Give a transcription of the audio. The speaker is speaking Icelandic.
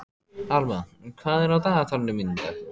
Alma, hvað er á dagatalinu mínu í dag?